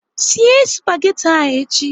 Sie spagati ahụ echi!